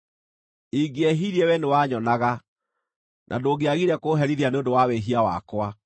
Ingĩehirie wee nĩwanyonaga, na ndũngĩagire kũũherithia nĩ ũndũ wa wĩhia wakwa.